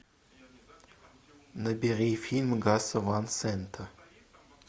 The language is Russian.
набери фильм гаса ван сента